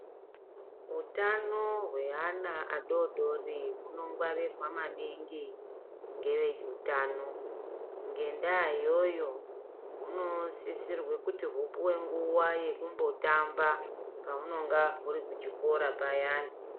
Hutano hweana adodori hunongwarirwa maningi ngeveutano, ngendaa iyoyo hunosisirwe kuti huouwe nguwa yekumbotamba pahunenge huri kuchikora payani.